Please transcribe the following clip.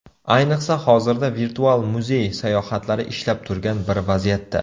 Ayniqsa, hozirda virtual muzey sayohatlari ishlab turgan bir vaziyatda.